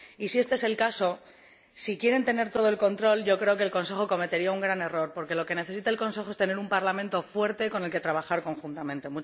Y si este es el caso, si quiere tener todo el control, creo que el Consejo cometerá un gran error, porque lo que necesita el Consejo es tener un Parlamento fuerte con el que trabajar conjuntamente.